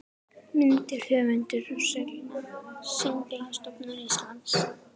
Myndir: Höfundur og Siglingastofnun Íslands